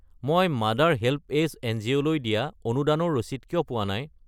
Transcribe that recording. মই mother HelpAge এনজিঅ'লৈ দিয়া অনুদানৰ ৰচিদ কিয় পোৱা নাই?